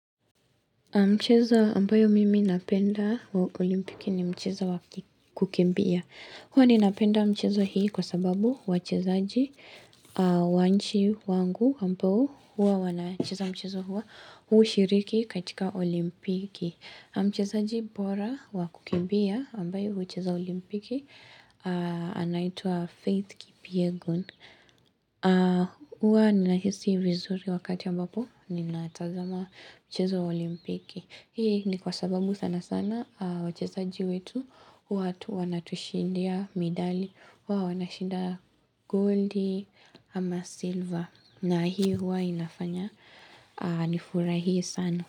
Mchezo ambayo mimi napenda wa olimpiki ni mchezo wa kukimbia. Huwa ni napenda mchezo hii kwa sababu wachezaji wa nchi wangu ambao huwa wanachezaji mchezo huwa hushiriki katika olimpiki. Na Mchezaji bora wa kukimbia ambaye huchezaji olimpiki anaitua Faith Kipyegon. Huwa ninahisi vizuri wakati ambapo ninatazama mchezo wa olimpiki Hii ni kwa sababu sana sana wachezaji wetu watu wanatushindia midali Huwa wanashinda goldi ama silver na hii hua inafanya nifurahi sana.